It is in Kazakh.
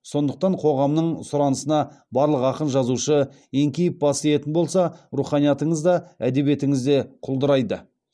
сондықтан қоғамның сұранысына барлық ақын жазушы еңкейіп бас иетін болса руханиятыңыз да әдебиетіңіз де құлдырайды